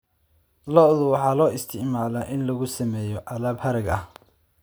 Lo'da waxaa loo isticmaalaa in lagu sameeyo alaab harag ah.